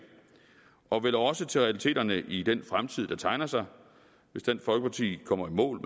og vel også til realiteterne i den fremtid der tegner sig hvis dansk folkeparti kommer i mål